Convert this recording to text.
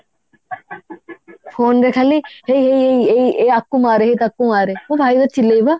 phone ରେ ଖାଲି ହେଇ ହେଇ ହେଇ ଏଇ ଆକୁ ମାରେ ହେଇ ତାକୁ ମାରେ ମୋ ଭାଇ ବା ଚିଲାଏ ବା